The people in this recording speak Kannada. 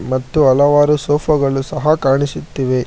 ಮತ್ತು ಹಲವಾರು ಸೋಫಾ ಗಳು ಸಹ ಕಾಣಿಸುತ್ತಿವೆ.